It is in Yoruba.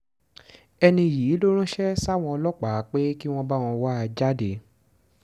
ẹni yìí ló ránṣẹ́ sáwọn ọlọ́pàá pé kí wọ́n báwọn wá a jáde